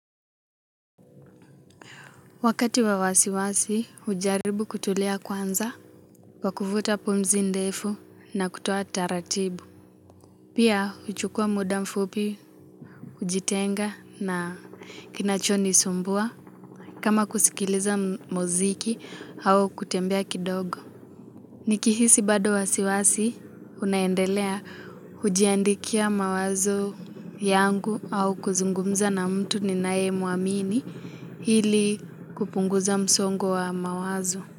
Wakati wa wasiwasi, hujaribu kutulia kwanza, kwa kuvuta pumzi ndefu na kutoa taratibu. Pia, huchukua muda mfupi, kujitenga na kinachonisumbua, kama kusikiliza muziki au kutembea kidogo. Nikihisi bado wasiwasi, unaendelea hujiandikia mawazo yangu au kuzungumza na mtu ninaye muamini ili kupunguza msongo wa mawazo.